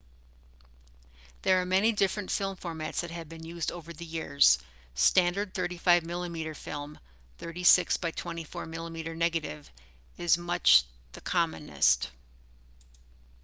there are many different film formats that have been used over the years. standard 35 mm film 36 by 24 mm negative is much the commonest